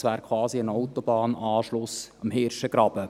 Das wäre quasi ein Autobahnanschluss am Hirschengraben.